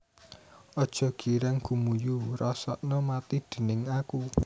Aja girang gumuyu rasakna mati déning aku